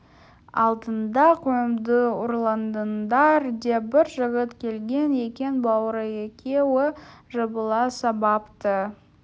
алдында қойымды ұрладыңдар деп бір жігіт келген екен бауыры екеуі жабыла сабапты